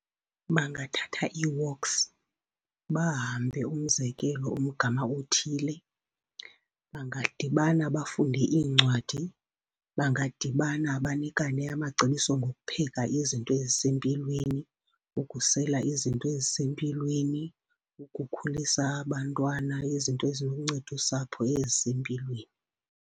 Bangathatha ii-walks bahambe, umzekelo, umgama othile. Bangadibana bafunde iincwadi. Bangadibana banikane amacebiso ngokupheka izinto ezisempilweni, ukusela izinto ezisempilweni, ukukhulisa abantwana, izinto eziluncedosapho ezisempilweni.